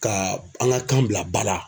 Ka an ka kan bila ba la.